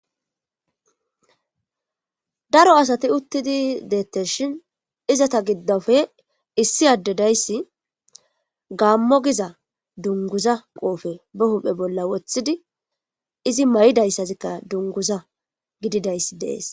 Daro asati uttidi deetesshin izata gidoppe issi adde dayssi gaamo giza dungguza qoofe ba huuphe bolla wothidi izi mayizaysazikka dungguza gididayssi de7ees.